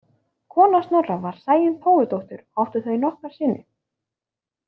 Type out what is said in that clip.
Kona Snorra var Sæunn Tófudóttir og áttu þau nokkra syni.